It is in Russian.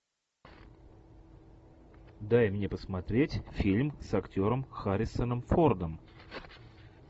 дай мне посмотреть фильм с актером харрисоном фордом